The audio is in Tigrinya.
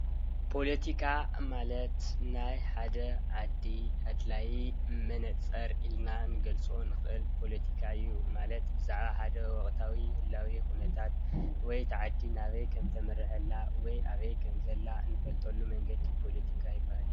ፖለቲካ ማለት ናይ ሓደ ዓዲ ኣድላይ መነፅር ኢልና ክንገልፆ እንክእል ፖለቲካ እዩ፡፡ ማለት ብዛዕባ ሓደ ወቅታዊ ህላዌ ኩነታት ወይ እታ ዓዲ ናበይ ከም እተምርሕ ከም ዘላ ወይ ኣበይ ከም ዘላ እንፈልጠሉ መንገዲ ፖለቲካ ይባሃል፡፡